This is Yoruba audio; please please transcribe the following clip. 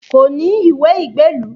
Kò ní ìwé ìgbélú